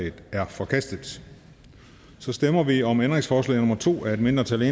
en er forkastet så stemmer vi om ændringsforslag nummer to af et mindretal